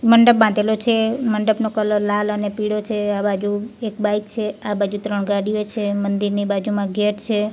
મંડપ બાંધેલો છે મંડપનો કલર લાલ અને પીળો છે આ બાજુ એક બાઇક છે આ બાજુ ત્રણ ગાડીઓ છે મંદિરની બાજુમાં ગેટ છે.